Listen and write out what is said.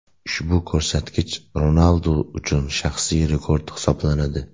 Ushbu ko‘rsatkich Ronaldu uchun shaxsiy rekord hisoblanadi.